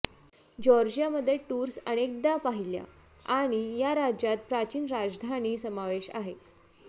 Georgia मध्ये tours अनेकदा पहिल्या आणि या राज्यात प्राचीन राजधानी समावेश आहे